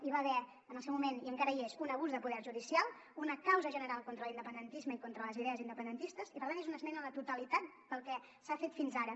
hi va haver en el seu moment i encara hi és un abús de poder judicial una causa general contra l’independentisme i contra les idees independentistes i per tant és una esmena a la totalitat pel que s’ha fet fins ara